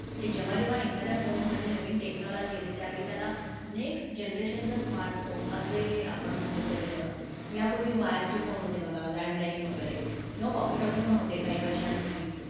म्हणजे जेव्हा जेव्हा एखाद्या phone मध्ये नवीन technology येते, त्यावेळी त्याला next Generation चा smartphone असे आपण म्हणतो सगळेजणं, यापूर्वी wire चे phone होते बघा, landline वैगेरे किंवा woki-toki पण होते काही वर्षांपूर्वी.